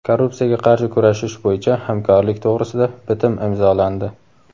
Korrupsiyaga qarshi kurashish bo‘yicha hamkorlik to‘g‘risida bitim imzolandi;.